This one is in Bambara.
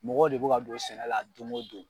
Mɔgɔ de bɛ ka don sɛnɛ la don o don.